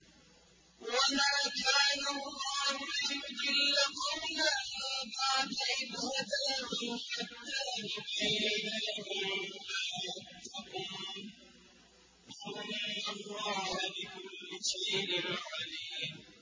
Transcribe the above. وَمَا كَانَ اللَّهُ لِيُضِلَّ قَوْمًا بَعْدَ إِذْ هَدَاهُمْ حَتَّىٰ يُبَيِّنَ لَهُم مَّا يَتَّقُونَ ۚ إِنَّ اللَّهَ بِكُلِّ شَيْءٍ عَلِيمٌ